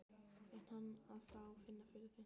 Er hann að fá að finna fyrir því?